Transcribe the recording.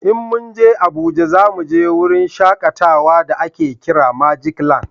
In mun je Abuja za mu je wurin shakatawa da a ke kiran magic land